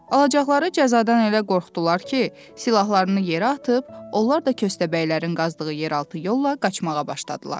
Alacaqları cəzadan elə qorxdular ki, silahlarını yerə atıb, onlar da köstəbəylərin qazdığı yeraltı yolla qaçmağa başladılar.